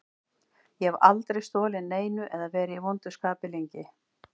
Ég hef aldrei stolið neinu eða verið í vondu skapi lengi.